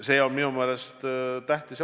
See on minu meelest tähtis.